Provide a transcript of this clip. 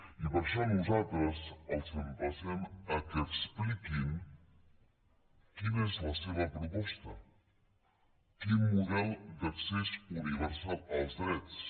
i per això nosaltres els emplacem que expliquin quina és la seva proposta quin model d’accés universal als drets